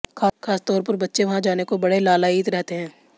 खासतौर पर बच्चे वहां जाने को बड़े लालायित रहते हैं